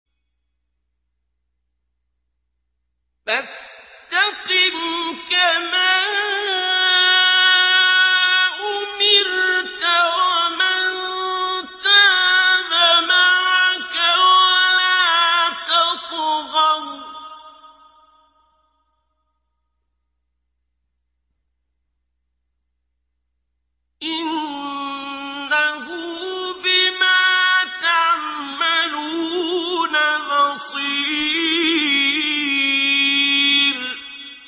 فَاسْتَقِمْ كَمَا أُمِرْتَ وَمَن تَابَ مَعَكَ وَلَا تَطْغَوْا ۚ إِنَّهُ بِمَا تَعْمَلُونَ بَصِيرٌ